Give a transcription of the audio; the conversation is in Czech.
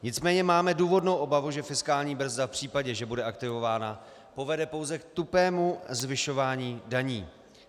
Nicméně máme důvodnou obavu, že fiskální brzda v případě, že bude aktivována, povede pouze k tupému zvyšování daní.